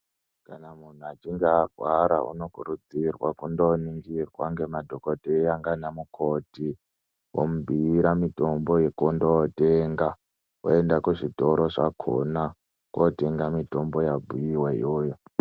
Kana munhu achinge arwara unokurudzirwa kondoningirwa ngemadhokodheya ngana mukoti, omubhuira mitombo yekondotenga oenda kuzvitoro zvakhona, kotenga mitombo yabhuiwa iyoyo.